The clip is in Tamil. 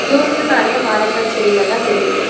தூரத்ல நெறைய மரங்கள் செடிகள்லா தெரியுது.